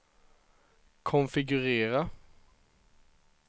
konfigurera